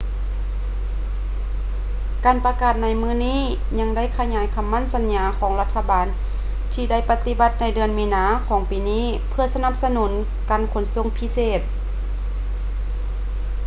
ການປະກາດໃນມື້ນີ້ຍັງໄດ້ຂະຫຍາຍຄໍາໝັ້ນສັນຍາຂອງລັດຖະບານທີ່ໄດ້ປະຕິບັດໃນເດືອນມີນາຂອງປີນີ້ເພື່ອສະໜັບສະໜູນການຂົນສົ່ງພິເສດ